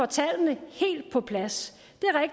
tallene helt på plads